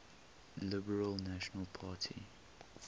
liberal national party